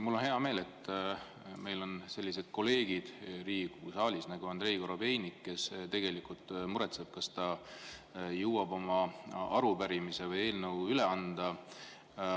Mul on hea meel, et meil on Riigikogu saalis sellised kolleegid nagu Andrei Korobeinik, kes muretseb, kas ta jõuab oma arupärimise või eelnõu üle anda.